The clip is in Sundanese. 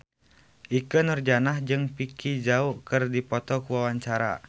Ikke Nurjanah jeung Vicki Zao keur dipoto ku wartawan